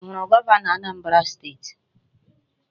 I huru Governo Anambra steeti?